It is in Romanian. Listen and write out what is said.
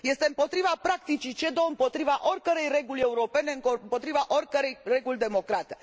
Este împotriva practicii CEDO, împotriva oricărei reguli europene, împotriva oricărei reguli democrate.